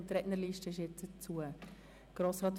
Die Rednerliste ist nun geschlossen.